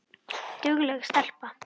Dugleg stelpa